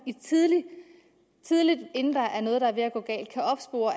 tidligt inden der er noget der går galt kan opspore